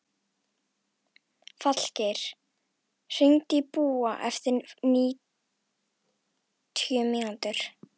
Falgeir, hringdu í Búa eftir níutíu mínútur.